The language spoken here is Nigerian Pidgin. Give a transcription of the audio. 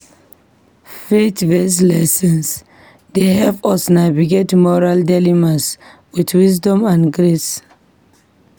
Faith-based lessons dey help us navigate moral dilemmas with wisdom and grace.